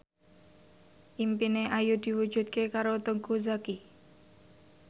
impine Ayu diwujudke karo Teuku Zacky